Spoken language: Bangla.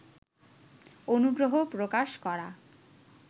অনুগ্রহ প্রকাশ করা